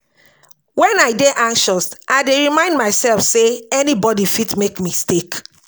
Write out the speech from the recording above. Wen I dey anxious, I dey remind mysef sey anybody fit make mistake.